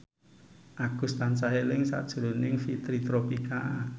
Agus tansah eling sakjroning Fitri Tropika